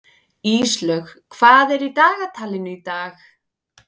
Íslaug, hvað er í dagatalinu í dag?